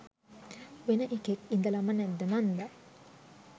වෙන එකෙක් ඉදලම නැද්ද මන්ද